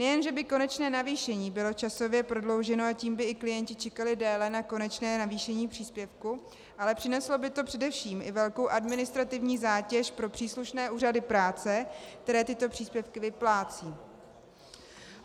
Nejen že by konečné navýšení bylo časově prodlouženo, a tím by i klienti čekali déle na konečné navýšení příspěvku, ale přineslo by to především i velkou administrativní zátěž pro příslušné úřady práce, které tyto příspěvky vyplácejí.